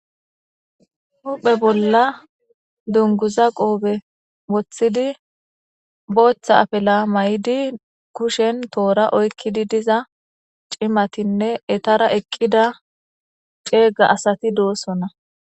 Huphe bolla dunguza qoobe woththidi booththa apela may'idi kushen toora oykkidi diza cimatinne etara eqqida ceega asati doosona